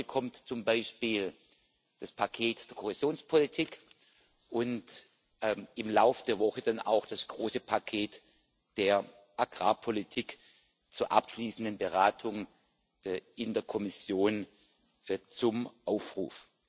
Heute kommt zum Beispiel das Paket der Kohäsionspolitik und im Laufe der Woche dann auch das große Paket der Agrarpolitik zur abschließenden Beratung in der Kommission zum Aufruf.